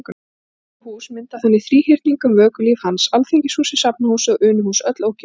Þrjú hús mynda þannig þríhyrning um vökulíf hans: Alþingishúsið, Safnahúsið og Unuhús- öll ókeypis.